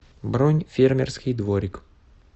бронь фермерский дворик